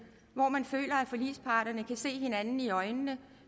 hvor man føler at forligsparterne har set hinanden i øjnene